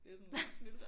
Det sådan lidt snylter